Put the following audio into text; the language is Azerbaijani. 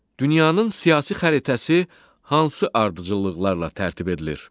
Dünyanın siyasi xəritəsi hansı ardıcıllıqlarla tərtib edilir?